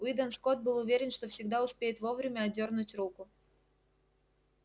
уидон скотт был уверен что всегда успеет вовремя отдёрнуть руку